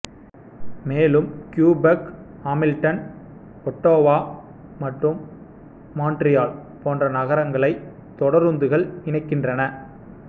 மேலும் Quebec Hamilton Ottawa மற்றும் Montreal போன்ற நகரங்களை தொடருந்துகள் இணைக்கின்றன